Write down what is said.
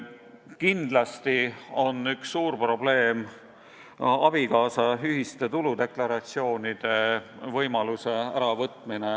Kindlasti on üks suur probleem abikaasade ühiste tuludeklaratsioonide võimaluse äravõtmine.